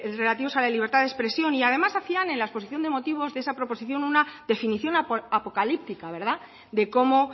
relativos a la libertad de expresión y además hacían en la exposición de motivos de esa proposición una definición apocalíptica de cómo